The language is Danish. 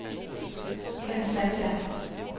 Kenn Sandberg